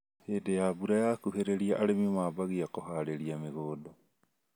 Hĩndĩ ya mbura yakuhĩrĩria arĩmi mambagia kũharĩria mĩgunda